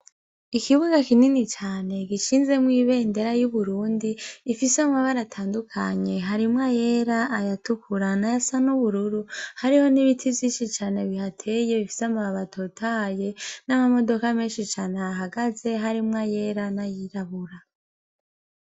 Ikibuga kinini cane gishinzemwo ibendera y'Uburundi ifise amabara atandukanye, harimwo ayera, ayatukura n'ayasa n'ubururu, hariho n'ibiti vyinshi cane bihateye bifise amababi atotahaye n'amamodoka menshi cane ahahagaze harimwo ayera n'ayirabura.